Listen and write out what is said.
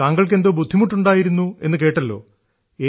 താങ്കൾക്ക് എന്തോ ബുദ്ധിമുട്ടുണ്ടായിരുന്നു എന്നു കേട്ടല്ലോ